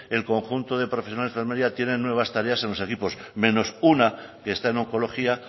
el conjunto de profesionales de enfermería tienen nuevas tareas en los equipos menos una que está en oncología